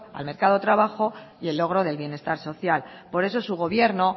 al mercado de trabajo y el logro del bienestar social por eso su gobierno